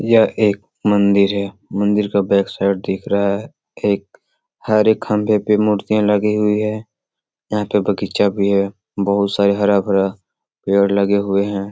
यह एक मंदिर है मंदिर के बैक साइड दिख रहा है एक हरे खंभे पे मुर्तिया लगी हुए है यहाँ पे बगीचा भी है बहुत सारा हरा भरा पेड़ लगे हुए हैं।